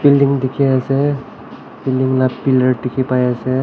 building dekhi ase building laga pillar dekhi pai ase.